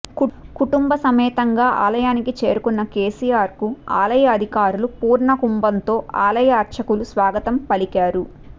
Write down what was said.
కుటుంబ సమేతంగా ఆలయానికి చేరుకున్న కేసీఆర్కు ఆలయ అధికారులు పూర్ణకుంభంతో ఆలయ అర్చకులు స్వాగతం పలికారు